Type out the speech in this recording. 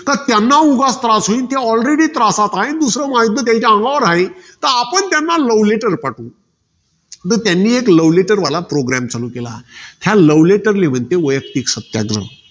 तर त्यांना उगाच त्रास होईल. ते already त्रासात आहे. दुसरं, महायुध्द त्याच्या अंगावर हाये. तर आपण त्यांना love letter पाठवू. तर त्यांनी एक love letter वाला program चालू केला. या love letter ली म्हणते, वैयक्तिक सत्याग्रह.